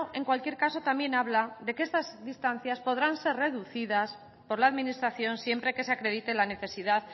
en cualquier caso también habla de que estas distancias podrán ser reducidas por la administración siempre que se acredite la necesidad